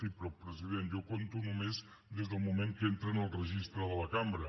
sí però president jo compto només des del moment que entren al registre de la cambra